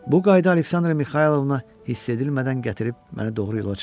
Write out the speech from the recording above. Bu qayda Aleksandra Mixaylovna hiss edilmədən gətirib məni doğru yola çıxartdı.